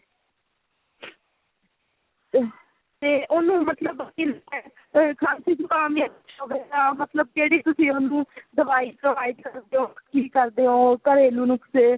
ਤੇ ਉਹਨੂੰ ਮਤਲਬ ਖਾਂਸੀ ਜੁਕਾਮ ਵੀ ਜਿਹੜੀ ਤੁਸੀਂ ਉਸਨੂੰ ਦਵਾਈ provide ਕਰਦੇ ਓ ਕੀ ਕਰਦੇ ਓ ਘਰੇਲੂ ਨੁਕਸੇ